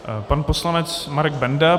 Pan poslanec Marek Benda.